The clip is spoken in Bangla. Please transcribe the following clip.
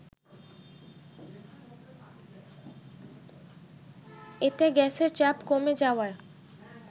এতে গ্যাসের চাপ কমে যাওয়ায়